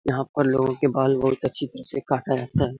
यहाँ पर लोगो के बाल बहुत अच्छी तरह से काटा जाता है |